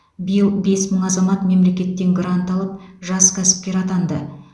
биыл бес мың азамат мемлекеттен грант алып жас кәсіпкер атанды